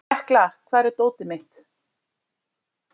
Tekla, hvar er dótið mitt?